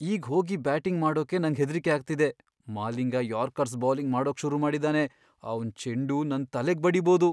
ಈಗ್ ಹೋಗಿ ಬ್ಯಾಟಿಂಗ್ ಮಾಡೋಕೆ ನಂಗ್ ಹೆದ್ರಿಕೆ ಆಗ್ತಿದೆ. ಮಾಲಿಂಗ ಯಾರ್ಕರ್ಸ್ ಬೌಲಿಂಗ್ ಮಾಡೋಕ್ ಶುರು ಮಾಡಿದಾನೆ, ಅವ್ನ್ ಚೆಂಡು ನನ್ ತಲೆಗ್ ಬಡೀಬೋದು.